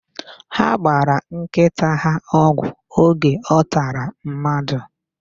Ha gbara nkịta ha ọgwụ oge ọ tara mmadụ.